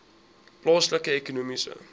plaaslike ekonomiese